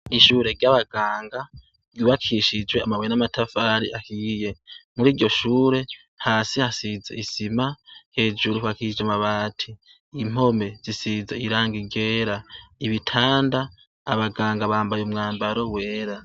Ishure ry' abaganga ryubakishijwe amabuye n' amatafari ahiye muri iryo shure hasi hasize isima hejuru hubakishije amabati impome zisize irangi ryera ibitanda abaganga bambaye umwambaro wera.